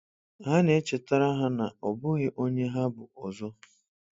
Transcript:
Ha na-echetara ha na ọ bụghị onye ha bụ ọzọ.